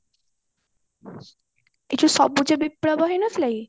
ଏ ଯୋଉ ସବୁଜ ବିପ୍ଲବ ହେଇନଥିଲା କି